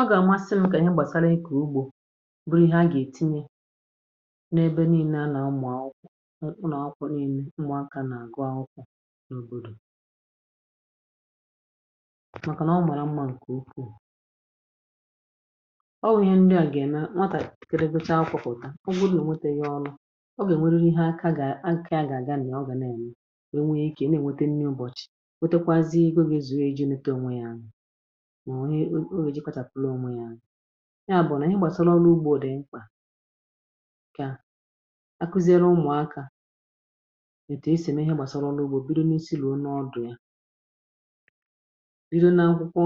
Ọ gà-àmasị m kà nye gbàsara ịkọ̀ ugbȯ, bụrụ ihe a gà-ètinye n’ebe niile a nà-ụmụ̀ akwụkwọ, ụ nà-akwụkwọ niile, ụmụakȧ nà-àgụ akwụkwọ n’òbòdò. Màkànà ọ màrà mmȧ, ǹkè ukwuù. Ọ wụ̀ ihe ndi à gà-ème, nwatàpìkiri becha akwụkwọ taa. Ọ bụrụ ònwète ihe ọrụ, ọ gà-ènweriri ihe. Aka gà... aka a gà-àga, nà ọ gà na-ènwe, na-ènwe wee ikė na-ènwete nni ụbọ̀chị̀. O nwè, o nwè iji̇ kpàchàpụ̀lụ̀ umu yȧ. Ihe a bụ̀ nà ihe gbàsara ọrụ ugbȯ dị̀ mkpà. Ka akụziere umùakȧ ètù esì mee ihe gbàsara ọrụ ugbȯ. Bido nà isi̇ lone, ọ dụ̀ ya bido na nkwụkwọ